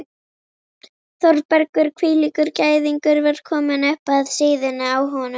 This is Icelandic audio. Þórbergur hvílíkur gæðingur var kominn upp að síðunni á honum?